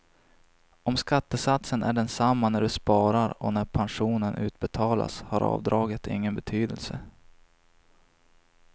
Om skattesatsen är densamma när du sparar och när pensionen utbetalas har avdraget ingen betydelse.